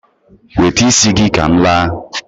wete isi gi ka m laa